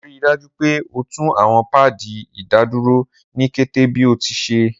Rii daju pe o tun awọn paadi idaduro ni kete bi o ti ṣee!